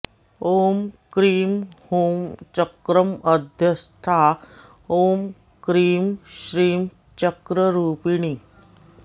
ॐ क्रीं ह्रूं चक्रमध्यस्था ॐ क्रीं श्रीं चक्ररूपिणी